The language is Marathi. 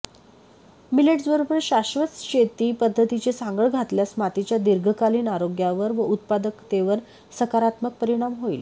मिलेट्सबरोबर शाश्वत शेती पद्धतींची सांगड घातल्यास मातीच्या दीर्घकालीन आरोग्यावर व उत्पादकतेवर सकारात्मक परिणाम होईल